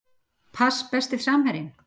Pass Besti samherjinn?